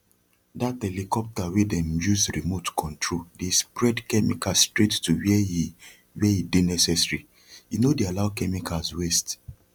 dt helicopter wey dem use remote control dey spread chemical straight to where e where e dey necessary e no dey allow chemicals waste